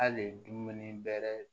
Hali dumuni bɛrɛ